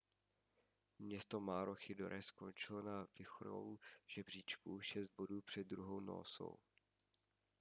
město maroochydore skončilo na vrcholu žebříčku šest bodů před druhou noosou